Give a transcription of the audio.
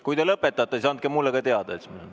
Kui te lõpetate, siis andke mulle ka teada, siis ...